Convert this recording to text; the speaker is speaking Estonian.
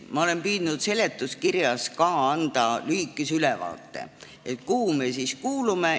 Ma olen püüdnud seletuskirjas anda lühikese ülevaate, kuhu me siis kuulume.